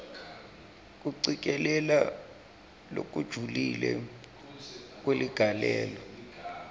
kucikelela lokujulile kweligalelo